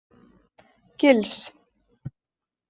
Gils